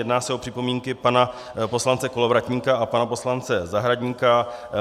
Jedná se o připomínky pana poslance Kolovratníka a pana poslance Zahradníka.